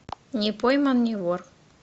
не пойман не вор